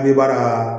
An bɛ baara